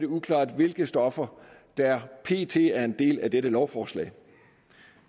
uklart hvilke stoffer der pt er en del af dette lovforslag